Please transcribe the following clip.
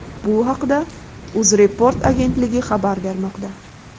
Bu haqda UzReport agentligi xabar bermoqda .